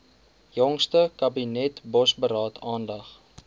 jongste kabinetsbosberaad aandag